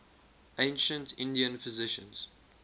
ancient indian physicians